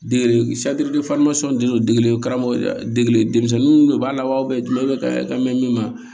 Degeli karamɔgɔ degeli denmisɛnninw de b'a la wa bɛɛ dun i bɛ ka hɛrɛ ka mɛn min ma